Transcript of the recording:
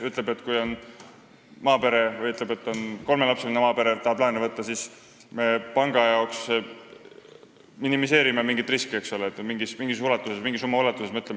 Ütleme nii, et kui kolmelapseline maapere tahab laenu võtta, siis me minimeerime panga jaoks mingeid riske mingi summa ulatuses.